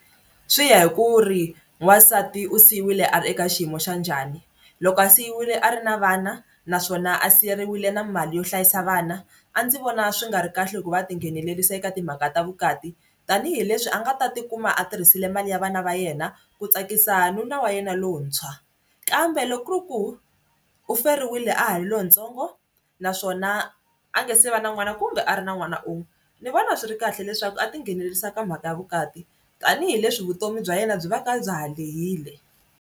Swi ya hi ku ri wansati u siyiwile a ri eka xiyimo xa njhani loko a siyiwile a ri na vana naswona a siyiwile na mali yo hlayisa vana a ndzi vona swi nga ri kahle ku va a tinghenelerisa eka timhaka ta vukati tanihileswi a nga ta tikuma a tirhisile mali ya vana va yena ku tsakisa nuna wa yena lontshwa kambe loko ku ri ku u feriwile a ha ri lontsongo naswona a nga se va na n'wana kumbe a ri na n'wana un'we ni vona swi ri kahle leswaku a tinghenelerisa ka mhaka ya vukati tanihileswi vutomi bya yena byi va ka bya ha lehile.